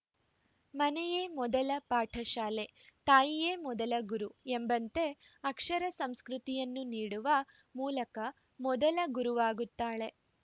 ಮನೆಯೆ ಮೊದಲ ಪಾಠಶಾಲೆ ತಾಯಿಯೇ ಮೊದಲ ಗುರು ಎಂಬಂತೆ ಅಕ್ಷರ ಸಂಸ್ಕೃತಿಯನ್ನು ನೀಡುವ ಮೂಲಕ ಮೊದಲ ಗುರುವಾಗುತ್ತಾಳೆ